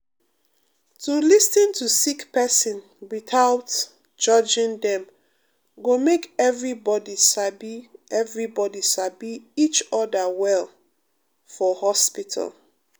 um to lis ten to sick person without um judging dem go make everybody sabi everybody sabi each oda well for hospital.